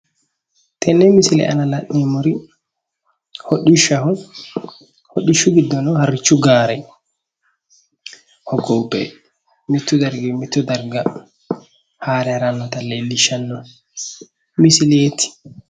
Tenne misile aana la'neemmor hidhishshaho, hodhishshu giddono harrichu gaare hoggobbe mittu darginni mitto darga haare harannota leellishshanno misileeti